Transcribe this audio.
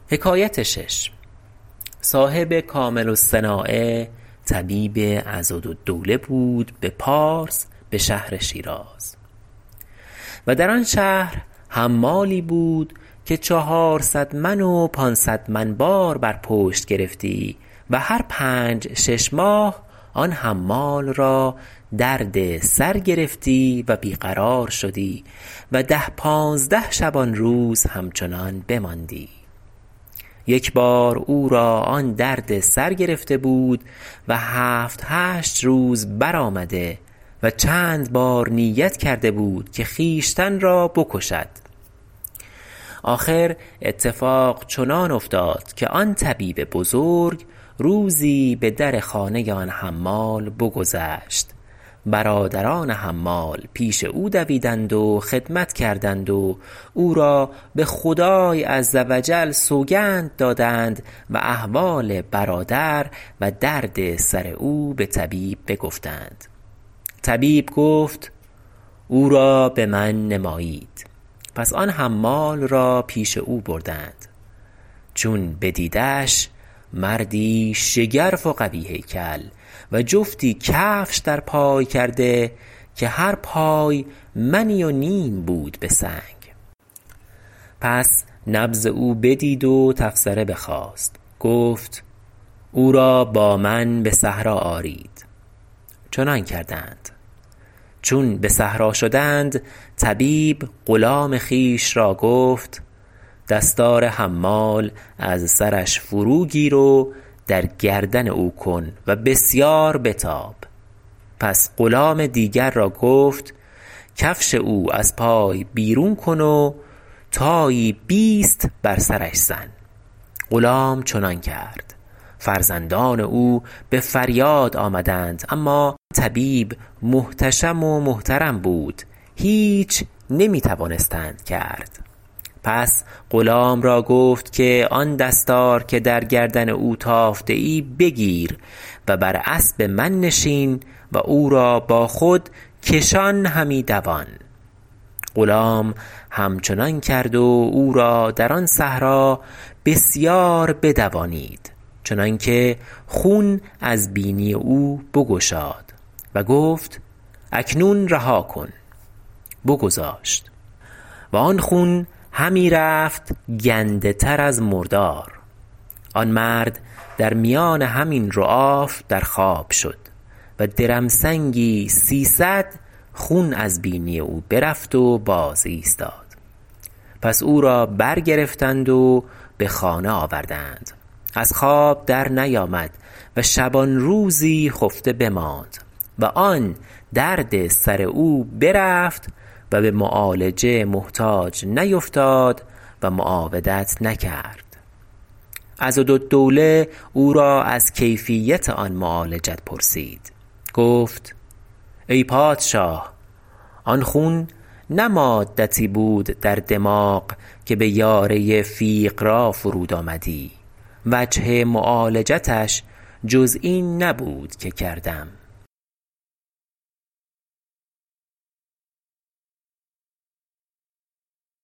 صاحب کامل الصناعة طبیب عضدالدوله بود به پارس به شهر شیراز و در آن شهر حمالی بود که چهارصد من و پانصد من بار بر پشت گرفتی و هر پنج شش ماه آن حمال را درد سر گرفتی و بی قرار شدی و ده پانزده شبانروز همچنان بماندی یک بار او را آن درد سر گرفته بود و هفت هشت روز بر آمده و چند بار نیت کرده بود که خویشتن را بکشد آخر اتفاق چنان افتاد که آن طبیب بزرگ روزی به در خانه آن حمال بگذشت برادران حمال پیش او دویدند و خدمت کردند و او را به خدای عز و جل سوگند دادند و احوال برادر و درد سر او به طبیب بگفتند طبیب گفت او را به من نمایید پس آن حمال را پیش او بردند چون بدیدش مردی شگرف و قوی هیکل و جفتی کفش در پای کرده که هر پای منی و نیم بود به سنگ پس نبض او بدید و تفسره بخواست گفت او را با من به صحرا آرید چنان کردند چون به صحرا شدند طبیب غلام خویش را گفت دستار حمال از سرش فرو گیر و در گردن او کن و بسیار بتاب پس غلام دیگر را گفت کفش او از پای بیرون کن و تایی بیست بر سرش زن غلام چنان کرد فرزندان او به فریاد آمدند اما طبیب محتشم و محترم بود هیچ نمی توانستند کرد پس غلام را گفت که آن دستار که در گردن او تافته ای بگیر و بر اسب من نشین و او را با خود کشان همی دوان غلام همچنان کرد و او را در آن صحرا بسیار بدوانید چنان که خون از بینی او بگشاد و گفت اکنون رهاکن بگذاشت و آن خون همی رفت گنده تر از مردار آن مرد در میان همین رعاف در خواب شد و درمسنگی سیصد خون از بینی او برفت و باز ایستاد پس او را بر گرفتند و به خانه آوردند از خواب در نیامد و شبانروزی خفته بماند و آن درد سر او برفت و به معالجه محتاج نیفتاد و معاودت نکرد عضدالدوله او را از کیفیت آن معالجت پرسید گفت ای پادشاه آن خون نه مادتی بود در دماغ که به یاره فیقرا فرود آمدی وجه معالجتش جز این نبود که کردم